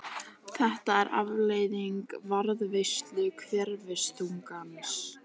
Þetta er afleiðing varðveislu hverfiþungans.